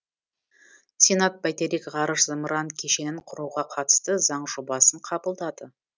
сенат бәйтерек ғарыш зымыран кешенін құруға қатысты заң жобасын қабылдады